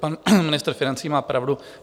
Pan ministr financí má pravdu.